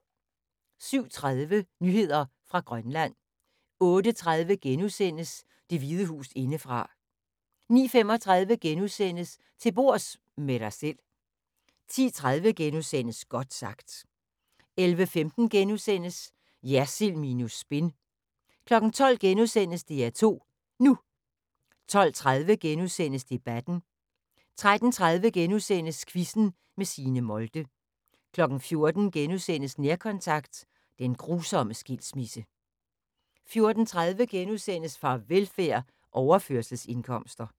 07:30: Nyheder fra Grønland 08:30: Det Hvide Hus indefra * 09:35: Til bords – med dig selv * 10:30: Godt sagt * 11:15: Jersild minus spin * 12:00: DR2 NU * 12:30: Debatten * 13:30: Quizzen med Signe Molde * 14:00: Nærkontakt – den grusomme skilsmisse * 14:30: Farvelfærd: Overførselsindkomster *